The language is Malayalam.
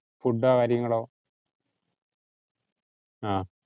food ഓ കാര്യങ്ങളോ? ആഹ്